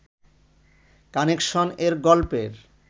কানেকশনএর গল্পের